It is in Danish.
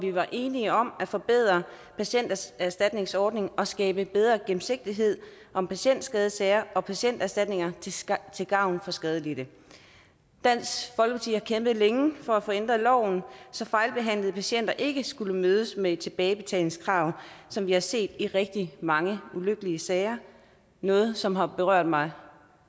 vi var enige om at forbedre patienterstatningsordningen og skabe bedre gennemsigtighed om patientskadesager og patienterstatninger til gavn for skadelidte dansk folkeparti har kæmpet længe for at få ændret loven så fejlbehandlede patienter ikke skal mødes med tilbagebetalingskrav som vi har set i rigtig mange ulykkelige sager noget som har berørt mig